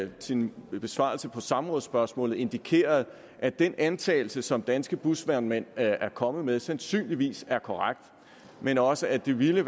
i sin besvarelse af samrådsspørgsmålet indikerede at den antagelse som danske busvognmænd er kommet med sandsynligvis er korrekt men også at det ville